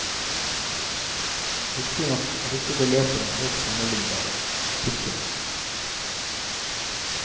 Riktignok er ikke beløpene helt sammenlignbare. punktum